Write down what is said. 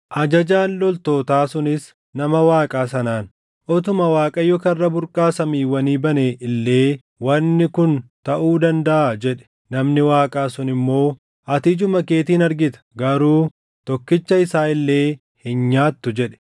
Ajajaan loltootaa sunis nama Waaqaa sanaan “Utuma Waaqayyo karra burqaa samiiwwanii bane illee wanni kun taʼuu dandaʼaa?” jedhe. Namni Waaqaa sun immoo, “Ati ijuma keetiin argita; garuu tokkicha isaa illee hin nyaattu!” jedhe.